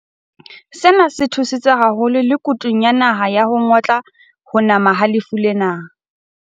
Sena se thusitse haholo me kutung ya naha ya ho ngotla ho nama ha lefu lena.